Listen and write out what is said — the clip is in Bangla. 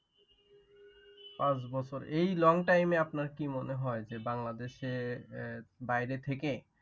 পাঁচ বছর এই long time এ আপনার কি মনে হয় যে বাংলাদেশের বাইরে থেকে?